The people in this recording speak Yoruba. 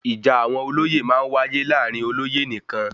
Ìjà àwọn olóyè máa ń wáyé láàrin olóyè nìkan